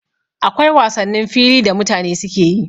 Akwai wasannin fili da mutane suke yi